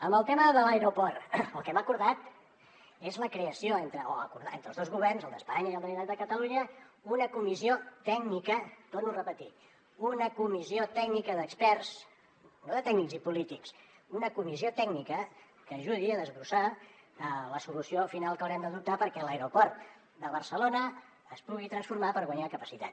en el tema de l’aeroport el que hem acordat és la creació acordat entre els dos governs el d’espanya i el de la generalitat de catalunya d’una comissió tècnica ho torno a repetir una comissió tècnica d’experts no de tècnics ni polítics una comissió tècnica que ajudi a desbrossar la solució final que haurem d’adoptar perquè l’aeroport de barcelona es pugui transformar per guanyar capacitat